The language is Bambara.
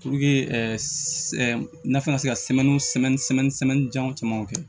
nafɛn ka se ka janw camanw kɛ